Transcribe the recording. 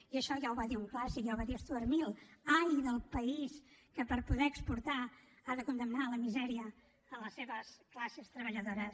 i això ja ho va dir un clàssic ja ho va dir stuart mill ai del país que per poder exportar ha de condemnar a la misèria les seves classes treballadores